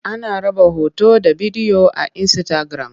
Ana raba hoto da bidiyo a Insitagiram.